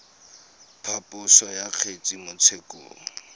phaposo ya kgetse mo tshekong